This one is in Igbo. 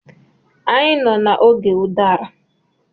Anyị nọ n'oge ụdara.